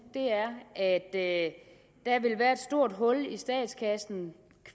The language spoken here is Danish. er at der vil være et stort hul i statskassen